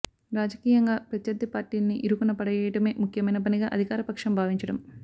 రాజకీయంగా ప్రత్యర్థి పార్టీల్ని ఇరుకున పడేయటమే ముఖ్యమైన పనిగా అధికారపక్షం భావించటం